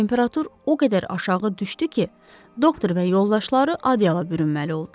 Temperatur o qədər aşağı düşdü ki, doktor və yoldaşları adyala bürünməli oldular.